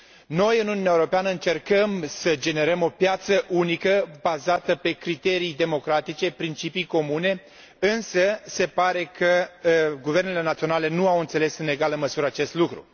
Noi, în Uniunea Europeană, încercăm să generăm o piață unică bazată pe criterii democratice, principii comune, însă se pare că guvernele naționale nu au înțeles în egală măsură acest lucru.